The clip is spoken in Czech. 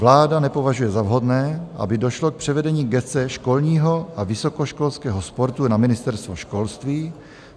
Vláda nepovažuje za vhodné, aby došlo k převedení gesce školního a vysokoškolského sportu na Ministerstvo školství.